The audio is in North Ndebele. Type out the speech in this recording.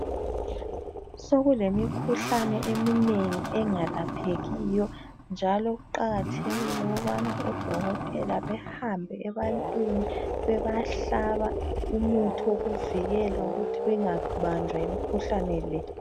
Sokulemikhuhlane eminengi engalaphekiyo njalo kuqakathekile ukubana odokotela bahambe ebantwini bebahlaba umuthi wokuthi wokuvukela ukuthi bengabanjwa yimkhuhlane le.